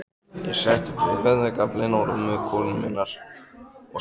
Ég settist við höfðagaflinn á rúmi konu minnar og sagði